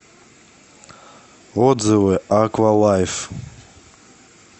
отзывы аква лайф